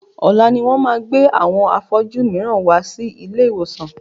Ọ̀la ni wọ́n máa gbé àwọn afọ́jú mìíràn wá sí ilé ìwòsàn.